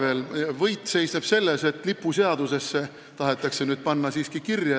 Aga võit seisneb selles, et lipuseadusesse tahetakse nüüd hümn siiski kirja panna.